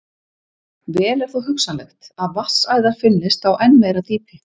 Vel er þó hugsanlegt að vatnsæðar finnist á enn meira dýpi.